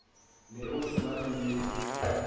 be o se na leye